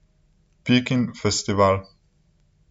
Pikin festival.